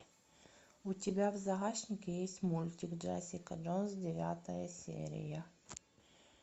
у тебя в загашнике есть мультик джессика джонс девятая серия